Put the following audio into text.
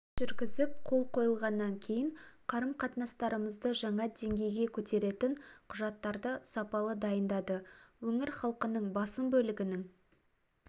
жүргізіп қол қойылғаннан кейін қарым-қатынастарымызды жаңа деңгейге көтеретін құжаттарды сапалы дайындады өңір халқының басым бөлігінің